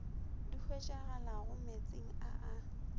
di hwetšagalago meetseng a a